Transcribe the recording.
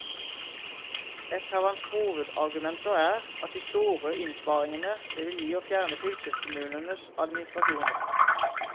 Et av hans hovedargumenter er de store innsparingene det vil gi å fjerne fylkeskommunenes administrasjoner.